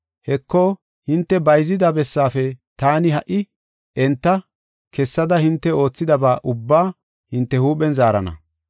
Heko, hinte bayzida bessaafe taani ha77i enta kessada hinte oothidaba ubbaa hinte huuphen zaarana.